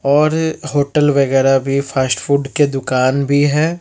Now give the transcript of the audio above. और होटल वगैरा भी फास्ट फुड के दुकान भी है।